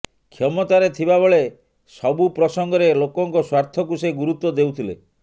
କ୍ଷମତାରେ ଥିବାବେଳେ ସବୁ ପ୍ରସଙ୍ଗରେ ଲୋକଙ୍କ ସ୍ୱାର୍ଥକୁ ସେ ଗୁରୁତ୍ୱ ଦେଉଥିଲେ